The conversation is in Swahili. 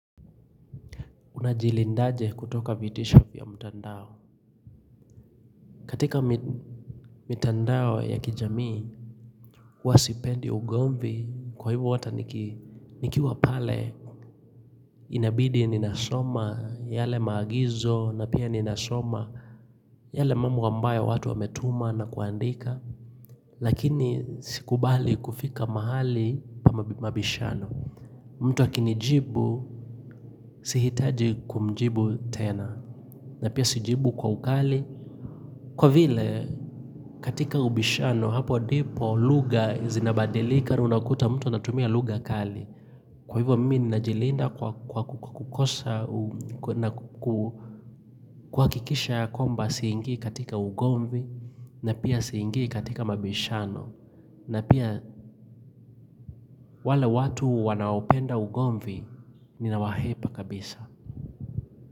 Unajilindaje kutoka vitisho vya mtandao. Katika mitandao ya kijamii, huwa sipendi ugomvi kwa hivo ata nikiwa pale, inabidi ninasoma, yale maagizo, na pia ninasoma, yale mambo ambayo watu wametuma na kuandika, lakini sikubali kufika mahali pa mabishano. Mtu akinijibu, sihitaji kumjibu tena, na pia sijibu kwa ukali, kwa vile katika ubishano hapo ndipo lugha zinabadilika unakuta mtu anatumia lugha kali. Kwa hivyo mmi ninajilinda kwa kukosa na kuhakikisha ya kwamba siingi katika ugomvi na pia siingi katika mabishano. Na pia wale watu wanaopenda ugomvi ninawahepa kabisa.